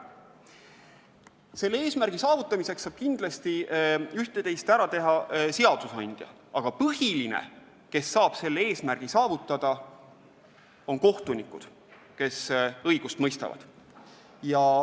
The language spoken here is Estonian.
Selle eesmärgi saavutamiseks saab kindlasti üht-teist ära teha seadusandja, aga põhiline, kes saab selle tagada, on kohtunikkond, kes õigust mõistab.